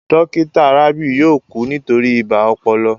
Dókítà Rabiu yóò kú nítorí ibà ọpọlọ